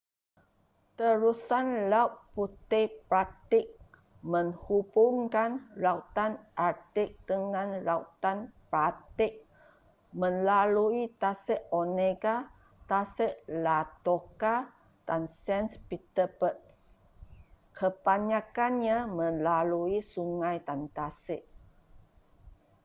terusan laut putih-baltik menghubungkan lautan artik dengan lautan baltik melalui tasik onega tasik ladoga dan saint petersburg kebanyakannya melalui sungai dan tasik